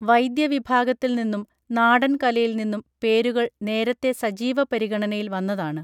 വൈദ്യ വിഭാഗത്തിൽ നിന്നും നാടൻ കലയിൽ നിന്നും പേരുകൾ നേരത്തെ സജീവ പരിഗണനയിൽ വന്നതാണ്